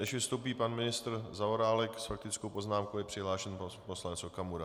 Než vystoupí pan ministr Zaorálek, s faktickou poznámkou je přihlášen poslanec Okamura.